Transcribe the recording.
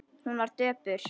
Hún var döpur.